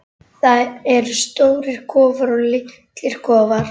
Það eru stórir kofar og litlir kofar.